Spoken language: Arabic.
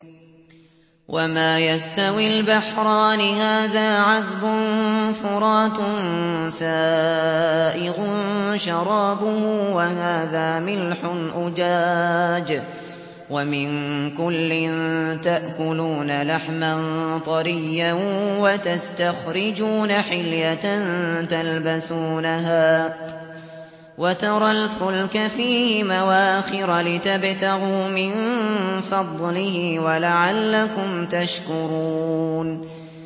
وَمَا يَسْتَوِي الْبَحْرَانِ هَٰذَا عَذْبٌ فُرَاتٌ سَائِغٌ شَرَابُهُ وَهَٰذَا مِلْحٌ أُجَاجٌ ۖ وَمِن كُلٍّ تَأْكُلُونَ لَحْمًا طَرِيًّا وَتَسْتَخْرِجُونَ حِلْيَةً تَلْبَسُونَهَا ۖ وَتَرَى الْفُلْكَ فِيهِ مَوَاخِرَ لِتَبْتَغُوا مِن فَضْلِهِ وَلَعَلَّكُمْ تَشْكُرُونَ